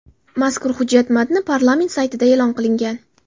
Mazkur hujjat matni parlament saytida e’lon qilingan .